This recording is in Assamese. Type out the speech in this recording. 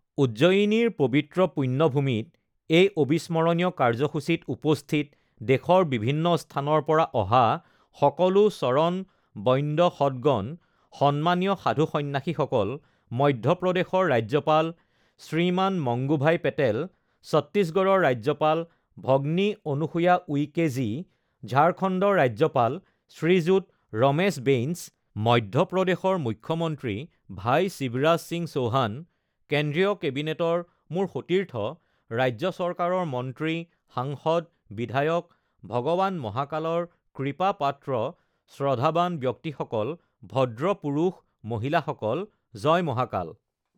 উজ্জয়িনীৰ পবিত্ৰ পুণ্যভূমিত এই অবিস্মৰণীয় কাৰ্যসূচীত উপস্থিত দেশৰ বিভিন্ন স্থানৰ পৰা অহা সকলো চৰণ বন্দ্য সদগন, সন্মানীয় সাধু সন্যাসীসকল, মধ্যপ্ৰদেশৰ ৰাজ্যপাল শ্ৰীমান মংগুভাই পেটেল, চত্তীশড়ৰৰ ৰাজ্যপাল ভগ্নী অনুসূয়া উইকে জী, ঝাৰখণ্ডৰ ৰাজ্যপাল শ্ৰীযুত ৰমেশ বেইনছ, মধ্যপ্ৰদেশৰ মুখ্যমন্ত্ৰী ভাই শিৱৰাজ সিং চৌহান, কেন্দ্ৰীয় কেবিনেটৰ মোৰ সতীৰ্থ, ৰাজ্য চৰকাৰৰ মন্ত্ৰী, সাংসদ, বিধায়ক, ভগৱান মহাকালৰ কূপাপাত্ৰ শ্ৰদ্ধাবান ব্যক্তিসকল, ভদ্ৰ পুৰুষ মহিলাসকল, জয় মহাকাল!